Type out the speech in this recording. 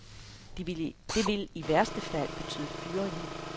Det vil i værste fald betyde fyringer.